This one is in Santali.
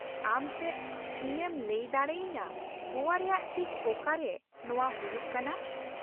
ᱟᱢ ᱪᱮᱫ ᱤᱧ ᱮᱢ ᱞᱟᱹᱭ ᱫᱟᱲᱮᱟᱹᱧᱟᱹ ᱜᱚᱣᱟ ᱨᱮᱭᱟᱜ ᱴᱷᱤᱠ ᱚᱠᱟ ᱨᱮ ᱱᱚᱶᱟ ᱦᱩᱭᱩᱜ ᱠᱟᱱᱟ ?